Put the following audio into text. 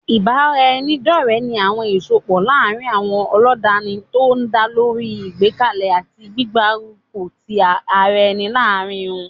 Ìbáraẹnidọ́ọ̀rẹ́ ní àwọn ìsọpọ̀ láàrin àwọn ọlọ́danni tó dálórí ìgbékalẹ̀ àti gbígbárùkù tí ara ẹni láàárín wọ́n